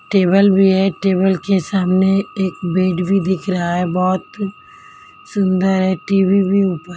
table भी है table के सामने एक बेड भी दिख रहा है बहुत सुंदर है टी_वी भी ऊपर--